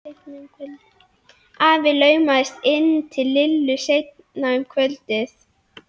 Afi laumaðist inn til Lillu seinna um kvöldið.